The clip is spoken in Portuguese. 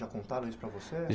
Já contaram isso para você?